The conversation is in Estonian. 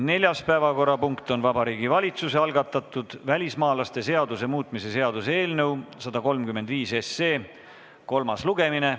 Neljas päevakorrapunkt on Vabariigi Valitsuse algatatud välismaalaste seaduse muutmise seaduse eelnõu 135 kolmas lugemine.